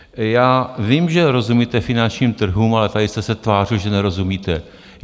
Já vím, že rozumíte finančním trhům, ale tady jste se tvářil, že nerozumíte.